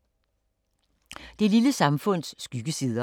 Det lille samfunds skyggesider